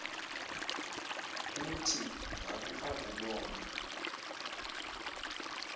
uthi ngaku akubona